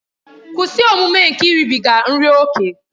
Kwụsị omume nke iribiga nri ókè!